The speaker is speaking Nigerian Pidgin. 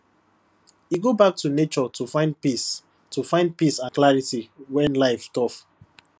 e go back to nature to find peace to find peace and clarity when life tough